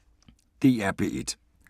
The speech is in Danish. DR P1